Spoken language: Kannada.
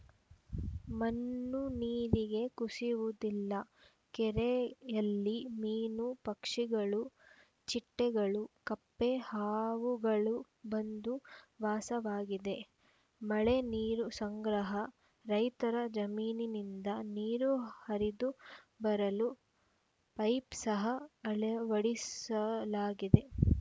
ಮಣ್ಣು ನೀರಿಗೆ ಕುಸಿಯುವುದಿಲ್ಲ ಕೆರೆಯಲ್ಲಿ ಮೀನು ಪಕ್ಷಿಗಳು ಚಿಟ್ಟೆಗಳು ಕಪ್ಪೆ ಹಾವುಗಳು ಬಂದು ವಾಸವಾಗಿವದೆ ಮಳೆ ನೀರು ಸಂಗ್ರಹ ರೈತರ ಜಮೀನಿನಿಂದ ನೀರು ಹರಿದು ಬರಲು ಪೈಪ್‌ ಸಹ ಅಳವಡಿಸಲಾಗಿದೆ